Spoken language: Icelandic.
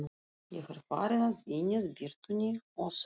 Ég er farinn að venjast birtunni og þögn